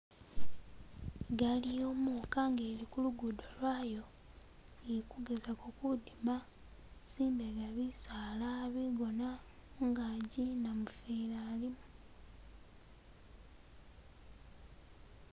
igaali yomuka nga ili kulugudo lwayo ili kugezako kudima zimbega bisaala bigona mungaji namufeli alimo